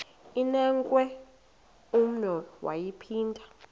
inewenkwe umnwe yaphinda